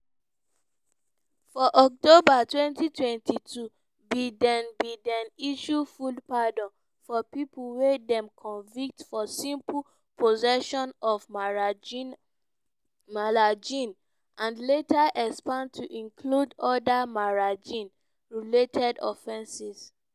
for october 2022 biden biden issue full pardon for pipo wey dem convict for simple possession of marijuana and later expand to include oda marijuana-related offenses.